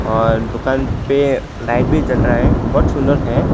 और दुकान पे लाइट भी जल रहा है बहोत सुंदर है।